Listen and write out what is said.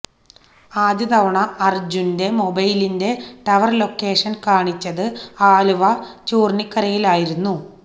ആദ്യ തവണ അര്ജുന്റെ മൊബൈലിന്റെ ടവര് ലൊക്കേഷന് കാണിച്ചത് ആലുവ ചൂര്ണിക്കരയിലായിരുന്നു